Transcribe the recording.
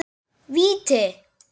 Víti!